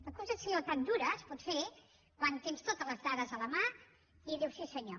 una acusació tan dura es pot fer quan tens totes les dades a la mà i dius sí senyor